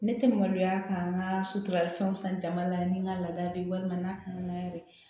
Ne tɛ maloya ka n ka sotrafɛnw san jama la ni n ka laada bɛ walima n'a kɔnɔna yɛrɛ